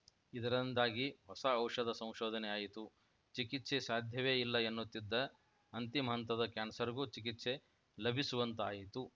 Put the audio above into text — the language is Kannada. ಇದರಿಂದಾಗಿ ಹೊಸ ಔಷಧ ಸಂಶೋಧನೆಯಾಯಿತು ಚಿಕಿತ್ಸೆ ಸಾಧ್ಯವೇ ಇಲ್ಲ ಎನ್ನುತ್ತಿದ್ದ ಅಂತಿಮ ಹಂತದ ಕ್ಯಾನ್ಸರ್‌ಗೂ ಚಿಕಿತ್ಸೆ ಲಭಿಸುವಂತಾಯಿತು